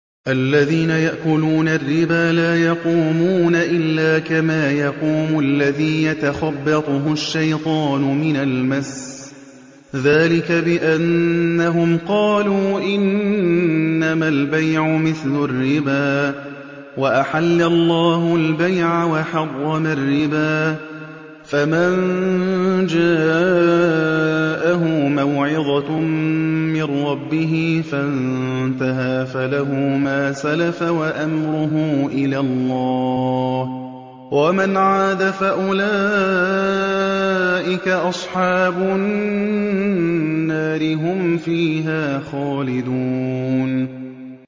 الَّذِينَ يَأْكُلُونَ الرِّبَا لَا يَقُومُونَ إِلَّا كَمَا يَقُومُ الَّذِي يَتَخَبَّطُهُ الشَّيْطَانُ مِنَ الْمَسِّ ۚ ذَٰلِكَ بِأَنَّهُمْ قَالُوا إِنَّمَا الْبَيْعُ مِثْلُ الرِّبَا ۗ وَأَحَلَّ اللَّهُ الْبَيْعَ وَحَرَّمَ الرِّبَا ۚ فَمَن جَاءَهُ مَوْعِظَةٌ مِّن رَّبِّهِ فَانتَهَىٰ فَلَهُ مَا سَلَفَ وَأَمْرُهُ إِلَى اللَّهِ ۖ وَمَنْ عَادَ فَأُولَٰئِكَ أَصْحَابُ النَّارِ ۖ هُمْ فِيهَا خَالِدُونَ